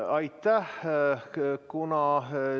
Aitäh!